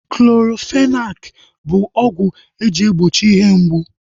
Clorofenaki bụ ọgwụ eji egbochi ihe mgbu